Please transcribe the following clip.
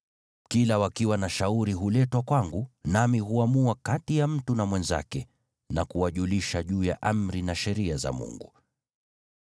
Kila wakiwa na shauri huletwa kwangu, nami huamua kati ya mtu na mwenzake na kuwajulisha juu ya amri na sheria za Mungu.”